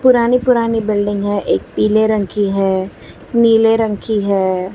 पुरानी पुरानी बिल्डिंग है एक पीले रंग की है नीले रंग की है।